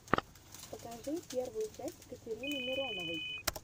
покажи первую часть катерины мироновой